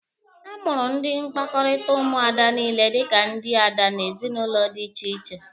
A mụrụ ndị mkpakọrịta Ụmụada niile dika ndị ada n'ezinụlọ dị iche iche.